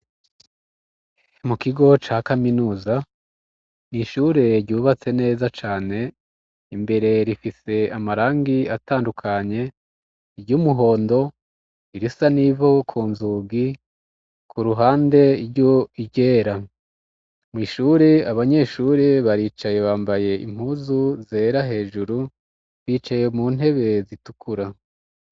Mukigo ca kaminuza, n'ishure ryubatse neza cane ,imbere rifise amarangi atandukanye: iry'umuhondo, irisa n'ivu ku nzugi ,ku ruhande iryera, mw'ishuri abanyeshuri baricaye bambaye impuzu zera hejuru, bicaye mu ntebe zitukura.